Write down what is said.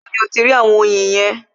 Ibo ni o ti rí àwọn oyin yẹn?